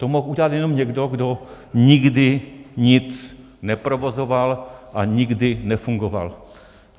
To mohl udělat jenom někdo, kdo nikdy nic neprovozoval a nikdy nefungoval.